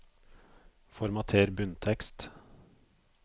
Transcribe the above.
Formater bunntekst